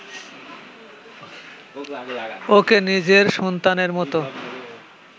ওকে নিজের সন্তানের মতো